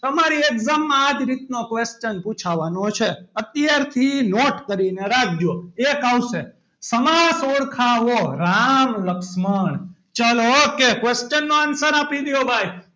તમારે એકદમ આ જ રીતનો question પૂછાવાનો છે અત્યારથી note કરીને રાખજો એક આવશે સમાસ ઓળખાવો રામ લક્ષ્મણ ચલો okay question નો answer આપી દો. ભાઈ,